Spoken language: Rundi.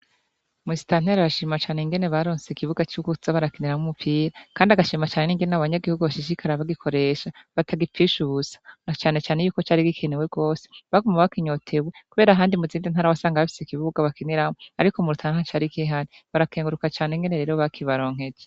Musitanteri arashima Cane ingene ikibuga cokuza barakiniramwo umupira Kandi agashima cane ingene abanyagihugu bashishikara kugikoresha batagipfisha ubusa cane cane cari gikenewe rwose bakinyotewe kubera muzindi ntara wasanga bafise ikibuga bakiniramwo ariko mu Rutana ntacari kihari barakenguruka rero ukuntu bakibaronkeje.